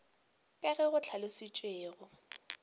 ka ge go hlalošitšwe go